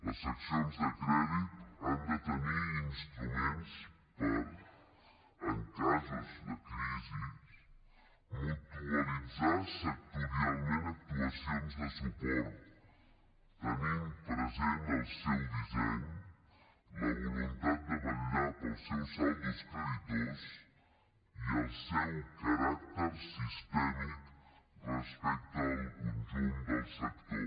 les seccions de crèdit han de tenir instruments per en casos de crisis mutualitzar sectorialment actuacions de suport tenint present el seu disseny la voluntat de vetllar per als seus saldos creditors i el seu caràcter sistèmic respecte al conjunt del sector